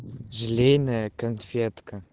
желейная конфетка